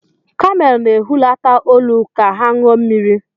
kamel na-ehulata olu ka ha ṅụọ mmiri.